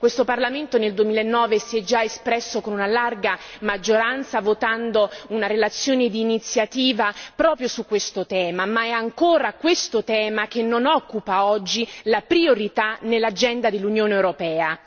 Questo Parlamento nel 2009 si è già espresso con una larga maggioranza votando una relazione d'iniziativa proprio su questo tema, ma è ancora questo tema che non occupa oggi la priorità nell'agenda dell'Unione europea.